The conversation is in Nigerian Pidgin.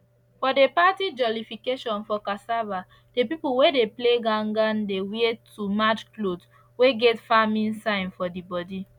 for the party jollification for cassava the pipo wey dey play gangan dey wear too match clothes wey get farming sign for d body